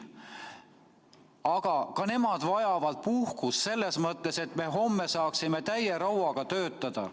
Aga ka nemad vajavad puhkust, selleks et me homme saaksime täie rauaga töötada.